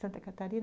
Santa Catarina?